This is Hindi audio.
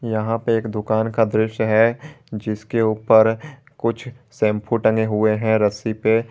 यहां पे एक दुकान का दृश्य है जिसके ऊपर कुछ शैंपू टंगे हुए हैं रस्सी पे।